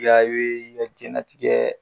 I ka i be i ka jɛnatigɛ